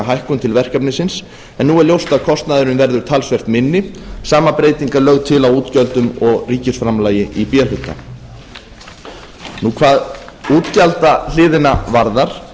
hækkun til verkefnisins en nú er ljóst að kostnaðurinn verður talsvert minni sama breyting er lögð til á útgjöldum og ríkisframlagi í b hluta hvað útgjaldahliðina varðar